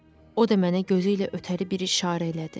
O da mənə gözü ilə ötəri bir işarə elədi.